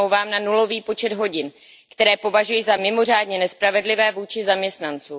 smlouvám na nulový počet hodin, které považuji za mimořádně nespravedlivé vůči zaměstnancům.